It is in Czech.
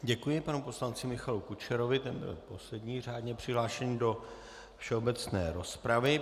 Děkuji panu poslanci Michalu Kučerovi, ten byl poslední řádně přihlášený do všeobecné rozpravy.